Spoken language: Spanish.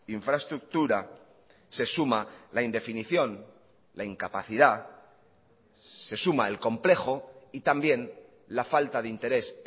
infraestructura se suma la indefinición la incapacidad se suma el complejo y también la falta de interés